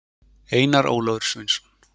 Einar Ólafur Sveinsson.